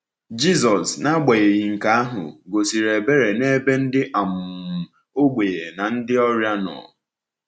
Jisọs, n’agbanyeghị nke ahụ, gosiri ebere n’ebe ndị um ogbenye na ndị ọrịa nọ.